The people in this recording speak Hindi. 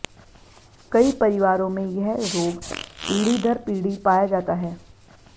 कई परिवारों में यह रोग पीढ़ी दर पीढ़ी पाया जाता है